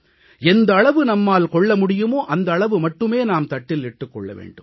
எந்த அளவு நம்மால் கொள்ள முடியுமோ அந்த அளவு மட்டுமே நாம் தட்டில் இட்டுக் கொள்ள வேண்டும்